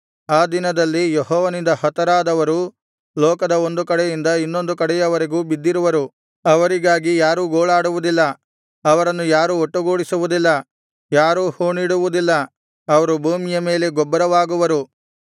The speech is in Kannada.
ಆ ದಿನದಲ್ಲಿ ಯೆಹೋವನಿಂದ ಹತರಾದವರು ಲೋಕದ ಒಂದು ಕಡೆಯಿಂದ ಇನ್ನೊಂದು ಕಡೆಯವರೆಗೂ ಬಿದ್ದಿರುವರು ಅವರಿಗಾಗಿ ಯಾರೂ ಗೋಳಾಡುವುದಿಲ್ಲ ಅವರನ್ನು ಯಾರೂ ಒಟ್ಟುಗೂಡಿಸುವುದಿಲ್ಲ ಯಾರು ಹೂಣಿಡುವುದಿಲ್ಲ ಅವರು ಭೂಮಿಯ ಮೇಲೆ ಗೊಬ್ಬರವಾಗುವರು